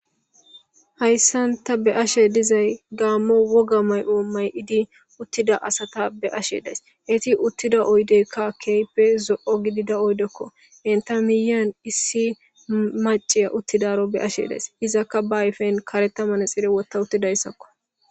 hayssan tabeashe dizay gaammo woga may'o may'idi uttida asata be'ashe days eti uttida oydeykka keype zo'o gidida oydekko enta miyan issi maciya uttidaro be ashe days izakka ba ayfen kareta manexire wotta uttidayssakko